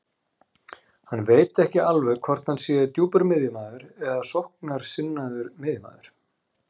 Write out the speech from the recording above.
Hann veit ekki alveg hvort hann sé djúpur miðjumaður eða sóknarsinnaður miðjumaður.